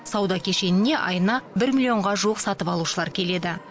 сауда кешеніне айына бір миллионға жуық сатып алушылар келеді